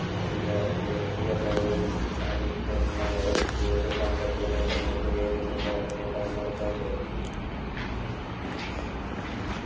അധികാരത്തിലെത്തിയ ക്ലൈവും അനുജന്മാരും കൂടുത സാമ്പത്തിക നേട്ടങ്ങൾക്കു വേണ്ടി മുർജഫൂർ നെ സമ്മർദ്ദം ചെലുത്തി